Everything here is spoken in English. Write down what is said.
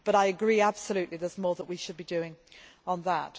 But I agree absolutely there is more that we should be doing on that.